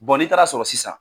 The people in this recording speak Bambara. n'i taara sɔrɔ sisan